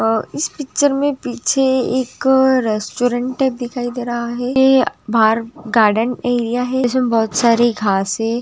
आ इस पिक्चर में पीछे एक रेस्टोरेंट दिखाई दे रहा है हे बाहर गार्डेन बहुत सारे घासें--